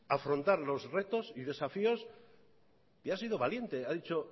afrontar los retos y desafíos y ha sido valiente ha dicho